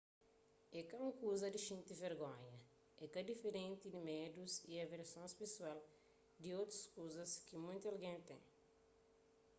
é ka un kuza di xinti vergonha é ka diferenti di medus y aversons pesoal di otus kuzas ki munti algen ten